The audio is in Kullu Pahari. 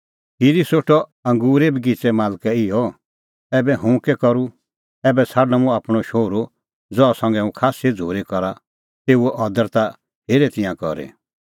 खिरी सोठअ अंगूरे बगिच़ेए मालकै इहअ ऐबै हुंह कै करूं ऐबै छ़ाडणअ मुंह आपणअ शोहरू ज़हा संघै हुंह खास्सी झ़ूरी करा तेऊओ अदर ता हेरे तिंयां करी